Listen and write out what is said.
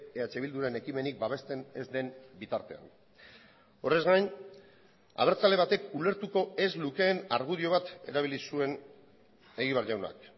eh bilduren ekimenik babesten ez den bitartean horrez gain abertzale batek ulertuko ez lukeen argudio bat erabili zuen egibar jaunak